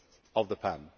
of the pen.